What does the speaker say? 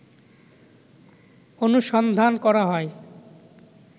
অনুসন্ধান করা হয়